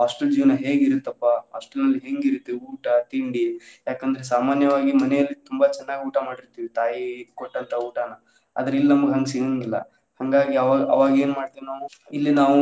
Hostel ಜೀವನಾ ಹೇಗಿರುತ್ತೆ ಅಪ್ಪಾ hostel ನಲ್ಲಿ ಹೆಂಗಿರುತ್ತೆ ಊಟಾ ತಿಂಡಿ ಯಾಕ್ ಅಂದ್ರೆ ಸಾಮಾನ್ಯವಾಗಿ ಮನೆಯಲ್ಲಿ ತುಂಬಾ ಚನ್ನಾಗಿ ಊಟಾ ಮಾಡಿರ್ತಿವಿ ತಾಯಿ ಕೊಟ್ಟಂತ ಊಟಾನಾ ಆದ್ರೆ ಇಲ್ಲ್ ನಮ್ಗ್ ಹಂಗ್ ಸಿಗಾಂಗಿಲ್ಲಾ ಹಂಗಾಗಿ ಅವಾಗ್ ಅವಾಗ್ ಏನ್ ಮಾಡ್ತೇವ್ ನಾವು ಇಲ್ಲಿ ನಾವು